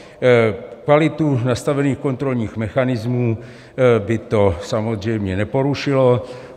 Kvalitu nastavených kontrolních mechanismů by to samozřejmě neporušilo.